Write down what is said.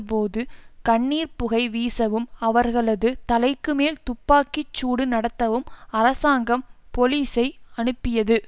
போது கண்ணீர் புகை வீசவும் அவர்களது தலைக்குமேல் துப்பாக்கி சூடு நடத்தவும் அரசாங்கம் பொலிஸை அனுப்பியது